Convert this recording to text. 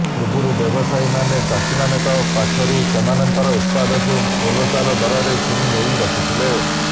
ପୂର୍ବରୁ ବ୍ୟବସାୟୀମାନେ ଚାଷୀମାନଙ୍କ ପାଖରୁ ସେମାନଙ୍କର ଉତ୍ପାଦକୁ ମୂଲଚାଲ ଦରରେ କିଣି ନେଇ ରଖୁଥିଲେ